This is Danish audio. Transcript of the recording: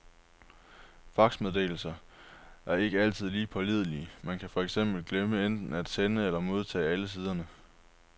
Faxmeddelelser er ikke altid lige pålidelige, man kan for eksempel glemme enten at sende eller modtage alle siderne.